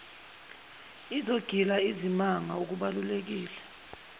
izogila izimanga okubaluleke